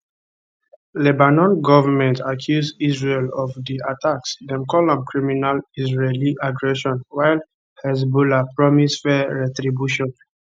lebanon goment accuse israel of di attacks dem call am criminal israeli aggression while hezbollah promise fair retribution